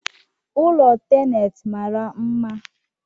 ụlọ tenet mara mma